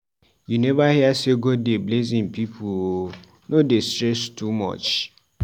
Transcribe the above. you never hear sey God dey bless im pipu o, no dey stress too much.